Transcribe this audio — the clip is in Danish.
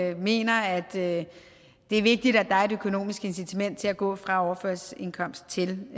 jo mener at det er vigtigt at der er et økonomisk incitament til at gå fra overførselsindkomst til